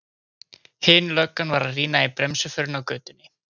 Hin löggan var að rýna í bremsuförin á götunni.